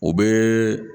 O bɛ